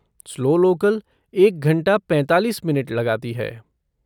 Slow local एक घंटा पैंतालीस मिनट लगाती है।